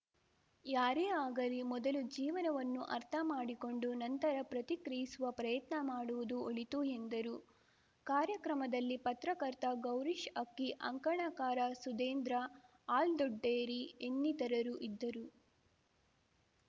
ಯಾರೇ ಆಗಲಿ ಮೊದಲು ಜೀವನವನ್ನು ಅರ್ಥಮಾಡಿಕೊಂಡು ನಂತರ ಪ್ರತಿಕ್ರಿಯಿಸುವ ಪ್ರಯತ್ನ ಮಾಡುವುದು ಒಳಿತು ಎಂದರು ಕಾರ್ಯಕ್ರಮದಲ್ಲಿ ಪತ್ರಕರ್ತ ಗೌರೀಶ್‌ ಅಕ್ಕಿ ಅಂಕಣಕಾರ ಸುಧೀಂದ್ರ ಹಾಲ್ದೊಡ್ಡೇರಿ ಇನ್ನಿತರರು ಇದ್ದರು